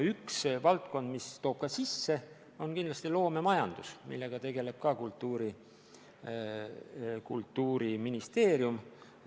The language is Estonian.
Üks valdkond, mis toob ka sisse, on kindlasti loomemajandus, millega tegeleb ka Kultuuriministeerium.